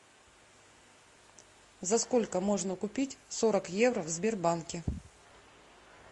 за сколько можно купить сорок евро в сбербанке